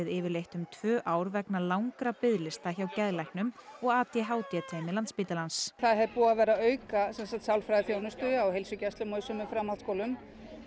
yfirleitt um tvö ár vegna langra biðlista hjá geðlæknum og a d h d teymi Landspítalans það er búið að vera að auka sálfræðiþjónustu á heilsugæslum og í sumum framhaldsskólum